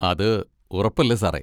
അത് ഉറപ്പല്ലേ സാറേ.